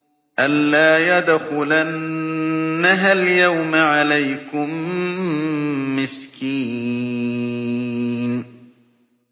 أَن لَّا يَدْخُلَنَّهَا الْيَوْمَ عَلَيْكُم مِّسْكِينٌ